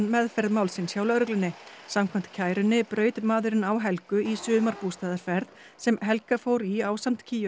meðferð málsins hjá lögreglunni samkvæmt kærunni braut maðurinn á Helgu í sumarbústaðarferð sem Helga fór í ásamt